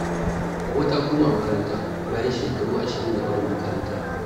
Hauwa ta koma makaranta bayan shekaru 20 da barin makarantar.